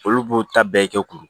Olu b'o ta bɛɛ kɛ kuru